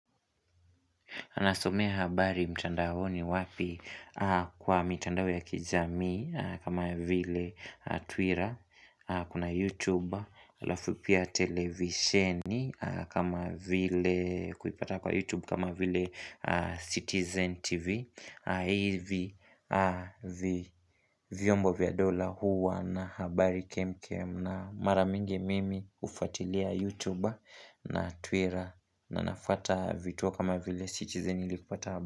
Anasomea habari mtandaoni wapi kwa mitandao ya kijamii kama vile Twitter, kuna YouTube, alafu pia televisheni kama vile kuipata kwa YouTube kama vile Citizen TV. Haivi vyombo vya dola huwa na habari kemkem na mara mingi mimi ufatilia YouTube na Twitter na nafata vituo kama vile Citizen ili kupata habari.